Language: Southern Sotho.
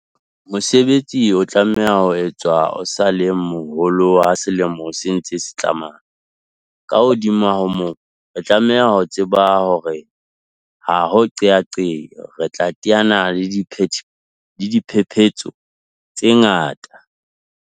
Mosebetsi o tlamehang ho etswa o sa le moholo ha selemo se ntse se tsamaya. Ka hodimo ho moo, re tlameha ho tseba hore ha ho qeaqeo, re tla teana le diphephetso tse ngata.